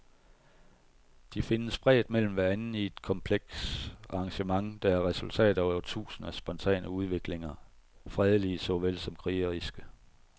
De findes spredt mellem hverandre i et komplekst arrangement, der er resultatet af årtusinders spontane udviklinger, fredelige såvel som krigeriske.